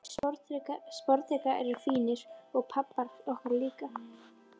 Sporðdrekar eru fínir, og pabbar okkar líka.